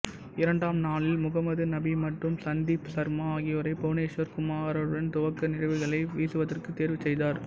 இரண்டாம் நாளில் முகமது நபி மற்றும் சந்தீப் சர்மா ஆகியோரை புவனேஷ்வர் குமாருடன் துவக்க நிறைவுககளை வீசுவதற்கு தேர்வு செய்தார்